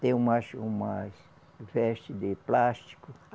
Tem umas, umas veste de plástico.